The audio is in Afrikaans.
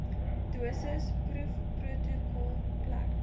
dosis proefprotokol plek